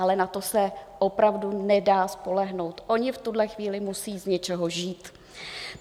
Ale na to se opravdu nedá spolehnout, oni v této chvíli musí z něčeho žít.